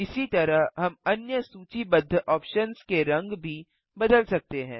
इसी तरह हम अन्य सूचीबद्ध ऑप्शन्स के रंग भी बदल सकते हैं